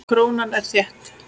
Krónan er þétt.